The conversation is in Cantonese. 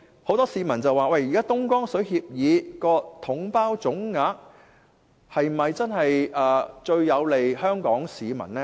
很多市民說，現時東江水協議下，以"統包總額"方式計算水價，是否最有利香港市民？